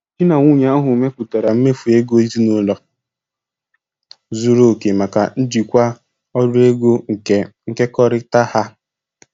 Di na nwunye ahụ mepụtara mmefu ego ezinụlọ zuru oke maka njikwa ọrụ ego nke nkekọrịta ha.